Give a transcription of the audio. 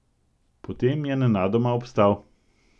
Potem je nenadoma obstal.